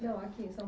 Não, aqui em São